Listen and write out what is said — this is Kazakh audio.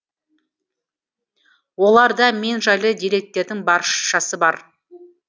оларда мен жайлы деректердің баршасы бар